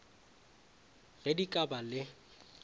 ge di ka ba le